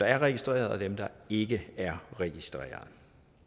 er registreret og dem der ikke er registreret